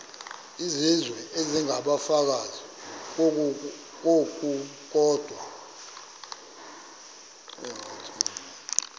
izizwe isengabafazi ngokukodwa